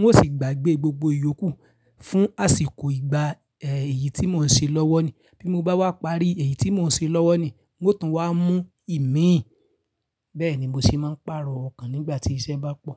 N ó sì gbàgbé gbogbo ìyókù fún àsìkò ìgbà, eh, èyí tí mò ń ṣe lọ́wọ́ ni. Bí mo bá wá parí èyí tí mò ń ṣe lọ́wọ́ ni, ó tún wá mú ìmíì. Bẹ́ẹ̀ ni mo sì máa ń pààrọ̀ ọkàn nígbà tí iṣẹ́ bá pọ̀.